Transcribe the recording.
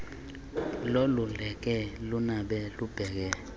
loluleke lunabe lubheke